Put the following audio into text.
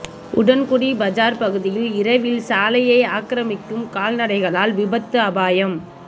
உடன்குடி பஜார் பகுதியில் இரவில் சாலையை ஆக்கிரமிக்கும் கால்நடைகளால் விபத்து அபாயம்